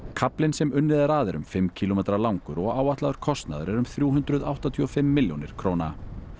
kaflinn sem unnið er að er um fimm kílómetra langur og áætlaður kostnaður er um þrjú hundruð áttatíu og fimm milljónir króna